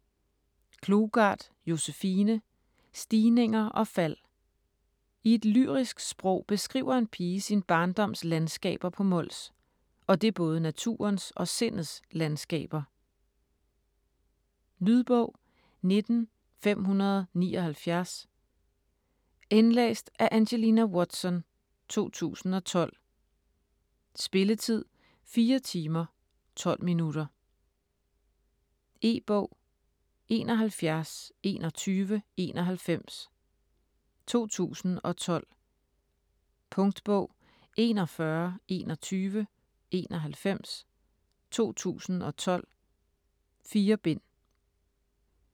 Klougart, Josefine: Stigninger og fald I et lyrisk sprog beskriver en pige sin barndoms landskaber på Mols - og det både naturens og sindets landskaber. Lydbog 19579 Indlæst af Angelina Watson, 2010. Spilletid: 4 timer, 12 minutter. E-bog 712191 2012. Punktbog 412191 2012. 4 bind.